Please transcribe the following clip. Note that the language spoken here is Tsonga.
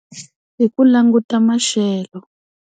Hi ku languta maxelo.